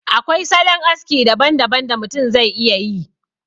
Akwai salon aski daban daban da mutum zai iya yi